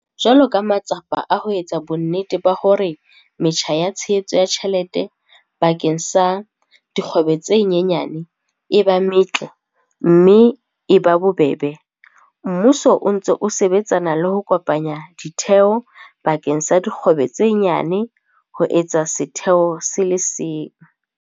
Jwalo ka matsapa a ho etsa bonnete ba hore metjha ya tshehetso ya tjhelete bakeng sa dikgwebo tse nyane e ba metle mme e ba bobebe, mmuso o ntse o sebetsana le ho kopanya ditheo bakeng sa dikgwebo tse nyane ho etsa setheo se le seng.